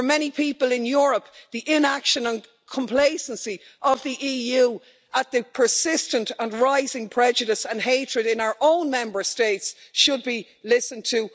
For many people in Europe, the inaction and complacency of the EU at the persistent and rising prejudice and hatred in our own Member States should also be listened to.